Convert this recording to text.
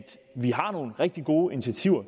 vi har søsat nogle rigtig gode initiativer